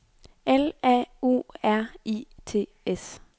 L A U R I T S